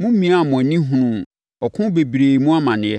momiaa mo ani hunuu ɔko bebree mu amaneɛ.